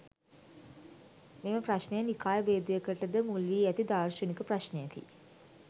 මෙම ප්‍රශ්නය නිකාය භේදයකටද මුල්වී ඇති දාර්ශනික ප්‍රශ්නයකි.